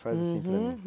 Faz assim para mim, uhum.